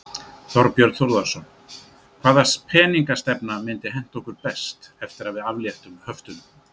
Þorbjörn Þórðarson: Hvaða peningastefna myndi henta okkur best eftir að við afléttum höftunum?